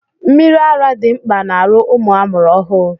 Mmiri ara dị mkpa n'arụ ụmụ amụrụ ọhụụ.